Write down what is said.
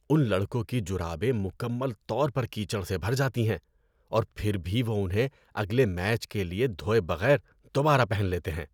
ان لڑکوں کی جرابیں مکمل طور پر کیچڑ سے بھر جاتی ہیں اور پھر بھی وہ انہیں اگلے میچ کے لیے دھوئے بغیر دوبارہ پہن لیتے ہیں۔